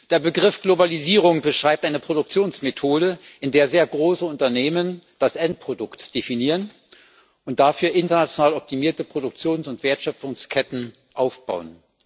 Der Begriff Globalisierung beschreibt eine Produktionsmethode, in der sehr große Unternehmen das Endprodukt definieren und dafür international optimierte Produktions und Wertschöpfungsketten aufbauen.